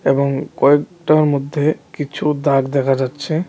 এবং কয়েকটা মধ্যে কিছু দাগ দেখা যাচ্ছে।